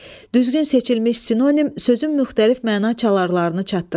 Düzgün seçilmiş sinonim sözün müxtəlif məna çalarını çatdırır.